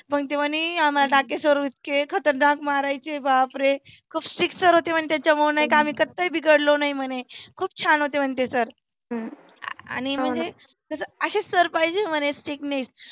मग तो म्हणी आम्हाला डाके sir इतके खतरनाक मारायचे बाप रे. खुप strict sir होते त्याच्यामुळे नाहीका आम्ही कातही बिघडलो नाही म्हणे. खुप छान होते म्हणे ते सर. हम्म आणि म्हणे आसेच sir पाहीजे म्हणे strictness